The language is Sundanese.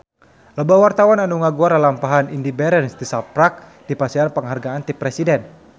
Loba wartawan anu ngaguar lalampahan Indy Barens tisaprak dipasihan panghargaan ti Presiden